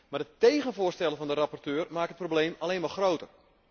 Maar de tegenvoorstellen van de rapporteur maken het probleem alleen maar groter.